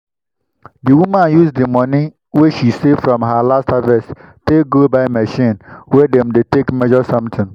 the woman use the money wey she save from her last harvest take go buy machine wey dem dey take measure something.